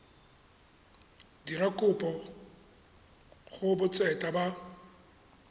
dira kopo go botseta ba